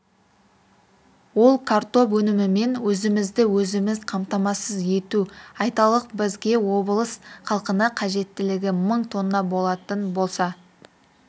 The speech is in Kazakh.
ол картоп өнімімен өзімізді-өзіміз қамтамасыз ету айталық бізге облыс халқына қажеттілігі мың тонна болатын болса